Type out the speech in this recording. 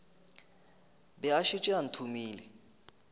be a šetše a thomile